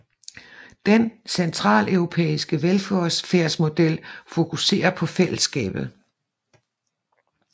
Den centraleuropæiske velfærdsmodel fokuserer på fællesskabet